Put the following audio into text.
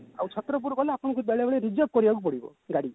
ଆଉ ଛତ୍ରପୁର ଗଲେ ଆପଣଙ୍କୁ ବେଳେ ବେଳେ reserve କରିବାକୁ ପଡିବ ଗାଡି